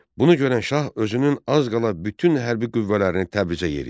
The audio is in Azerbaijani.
Bunu görən şah özünün az qala bütün hərbi qüvvələrini Təbrizə yeritdi.